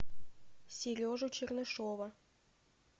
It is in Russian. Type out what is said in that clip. сережу чернышова